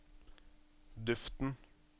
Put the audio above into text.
duften